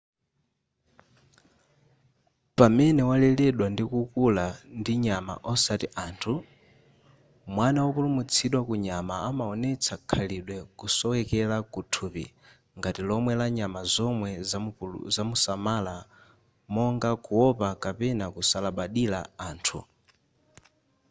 pamene waleredwa ndikukula ndi nyama osati anthu mwana wopulumutsidwa ku nyama amaonetsa khalidwe kusowekera kuthupi ngati lomwe la nyama zomwe zimamusamala monga kuopa kapena kusalabadira anthu